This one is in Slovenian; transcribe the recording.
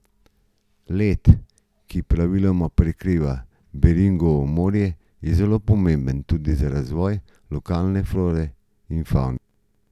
Led, ki praviloma prekriva Beringovo morje, je zelo pomemben tudi za razvoj lokalne flore in favne.